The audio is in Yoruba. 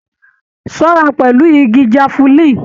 Ṣọra pẹlú ìgi jafulin!